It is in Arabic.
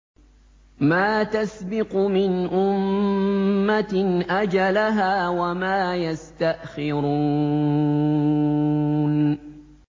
مَا تَسْبِقُ مِنْ أُمَّةٍ أَجَلَهَا وَمَا يَسْتَأْخِرُونَ